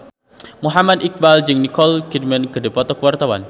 Muhammad Iqbal jeung Nicole Kidman keur dipoto ku wartawan